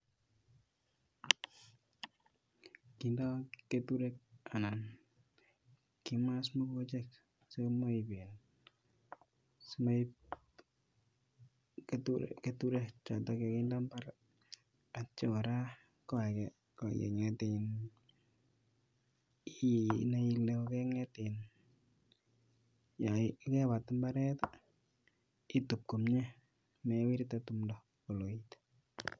kindo keturek anan kimas mokochek simoib um simoib keturek chotok kakinde mbar atya kora ko ake ko keng'et um inai ile kokeng'et um yakepat mbaret, itup komie, mewirte tumdo koloit.